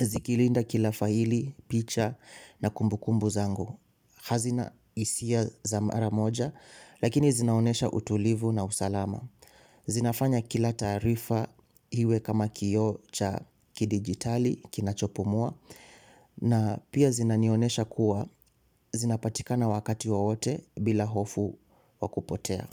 zikilinda kila faili picha na kumbukumbu zangu hazina hisia za mara moja lakini zinaonyesha utulivu na usalama zinafanya kila taarifa iwe kama kioo cha kidijitali kinachopumua na pia zinanionyesha kua zinapatikana wakati wowote bila hofu wa kupotea.